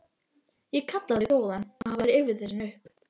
Ég kalla þig góðan að hafa rifið þig svona upp.